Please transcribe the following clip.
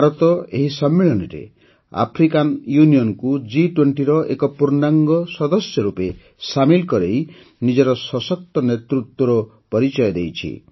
ଭାରତ ଏହି ସମ୍ମିଳନୀରେ ଆଫ୍ରିକାନ୍ ୟୁନିଅନ୍କୁ ଜି୨୦ର ଏକ ପୂର୍ଣ୍ଣାଙ୍ଗ ସଦସ୍ୟ ରୂପେ ସାମିଲ କରାଇ ନିଜର ସଶକ୍ତ ନେତୃତ୍ୱର ପରିଚୟ ଦେଇଛି